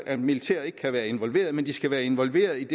at militæret ikke kan være involveret men det skal være involveret